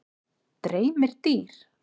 Dreymir dýr?